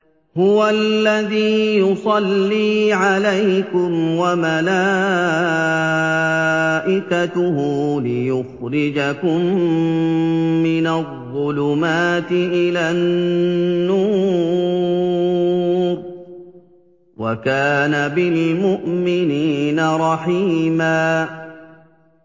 هُوَ الَّذِي يُصَلِّي عَلَيْكُمْ وَمَلَائِكَتُهُ لِيُخْرِجَكُم مِّنَ الظُّلُمَاتِ إِلَى النُّورِ ۚ وَكَانَ بِالْمُؤْمِنِينَ رَحِيمًا